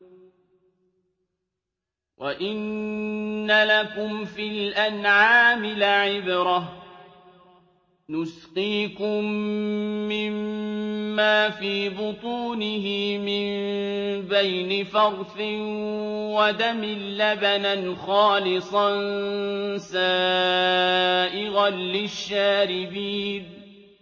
وَإِنَّ لَكُمْ فِي الْأَنْعَامِ لَعِبْرَةً ۖ نُّسْقِيكُم مِّمَّا فِي بُطُونِهِ مِن بَيْنِ فَرْثٍ وَدَمٍ لَّبَنًا خَالِصًا سَائِغًا لِّلشَّارِبِينَ